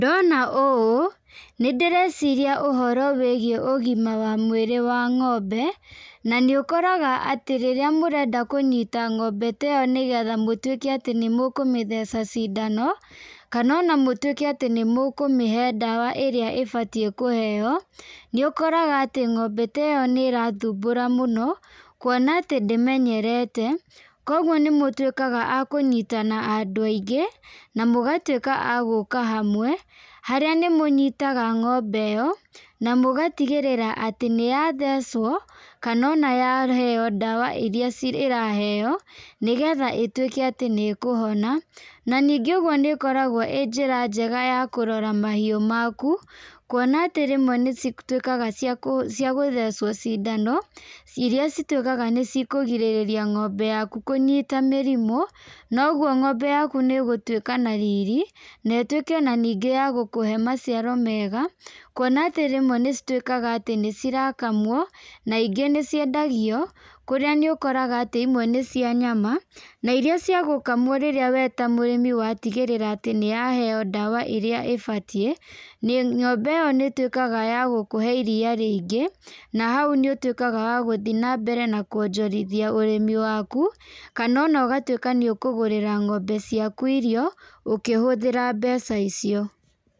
Ndona ũũ nĩ ndĩreciria ũhoro wĩgiĩ ũgima wa mwĩrĩ wa ngombe, na nĩ ũkoraga atĩ rĩrĩa mũrenda kũnyita ngombe ta ĩyo nĩgetha mũtwĩke atĩ nĩmũkũmĩtheca cindano, kana ona mũtwĩke nĩmũkũmĩhe ndawa iria ibatiĩ kũheo , nĩ ũkoraga atĩ ngombe ta ĩyo nĩ ĩrathumbũra mũno, kuona atĩ ndĩmenyerete, kũgwo nĩmũtwĩkaga akũnyitana andũ aingĩ , na mugatwĩka agũka hamwe , harĩa nĩmũnyitaga ngombe ĩyo, na mũgatigĩrĩra atĩ nĩyathecwo kana ona yaheo ndawa iria ciraheo, nĩgetha ĩtwĩke atĩ nĩ ĩkũhona, na ningĩ ũgwo nĩ ĩkoragwo nĩ njĩra njega ya kũrora mahiu maku, kuona atĩ rĩmwe nĩcitwĩkaga cia kũthecwo cindano iria citwĩkaga ncikũrigĩrĩria ngombe yaku kũnyita mĩrimũ, na ũgwo ngombe yaku nĩ ĩgũtwĩka na riri, na itwĩke ningĩ ya gũkũhe maciaro mega , kuona atĩ rĩmwe nĩcitwĩkaga nĩcirakamwo na ingĩ nĩciendagio kũrĩa ũkoraga imwe nĩ cia nyama , iria cia gũkamwo we wĩta mũrĩmi watigĩrĩra atĩ nĩ yaheo ndawa ĩrĩa ĩbatiĩ, ngombe ĩyo nĩ ĩtwĩkaga ya gũkũhe iria rĩingĩ, na hau nĩ ũtwĩkaga wa gũthiĩ na mbere na kwonjorithia ũrĩmi waku, kana ona ũgatwĩka nĩ ũkũgũrĩra ngombe ciaku irio , ũkĩhũthĩra mbeca icio.